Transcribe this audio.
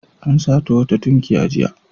An sato wata tunkiya jiya.